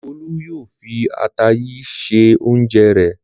Olú yóò fi ata yìí se oúnjẹ rẹ̀.